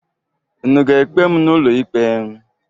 Unu ga-ekpe m n'ụlọikpe?